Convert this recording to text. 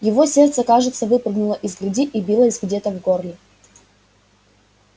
его сердце кажется выпрыгнуло из груди и билось где-то в горле